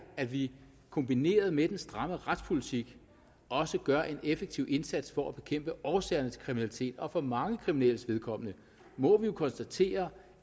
at vi kombineret med den stramme retspolitik også gør en effektiv indsats for at bekæmpe årsagerne til kriminalitet og for mange kriminelles vedkommende må vi jo konstatere